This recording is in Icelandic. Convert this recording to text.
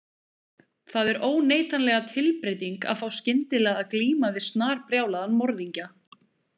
Það er óneitanlega tilbreyting að fá skyndilega að glíma við snarbrjálaðan morðingja.